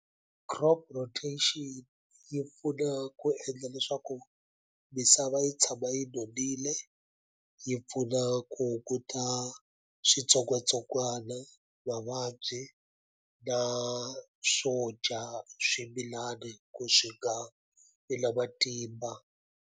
Crop rotation yi pfuna ku endla leswaku misava yi tshama yi nonile yi pfuna ku hunguta switsongwatsongwana mavabyi na swo dya swimilani ku swi nga vi na matimba.